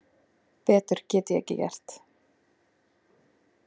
Betur get ég ekki gert.